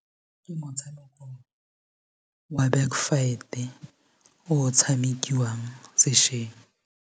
Ke motshamekong wa backfight-e o o tshamekiwang sešeng.